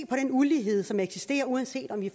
på den ulighed som eksisterer uanset om vi